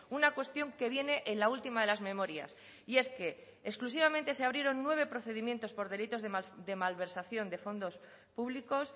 una cuestión que viene en la última de las memorias y es que exclusivamente se abrieron nueve procedimientos por delitos de malversación de fondos públicos